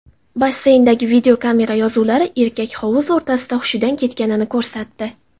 Basseyndagi videokamera yozuvlari erkak hovuz o‘rtasida hushidan ketganini ko‘rsatdi.